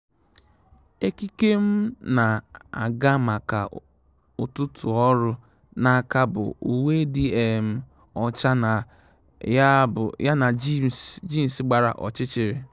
Ékíkè m nà-ágá maka ụ́tụ́tụ́ ọ́rụ́ n’áká bụ uwe dị um ọ́chá na um jeans gbara ọ́chịchị̀rị̀.